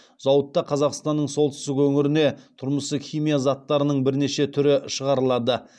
зауытта қазақстанның солтүстік өңіріне тұрмыстық химиялық заттарының бірнеше түрі шығарылады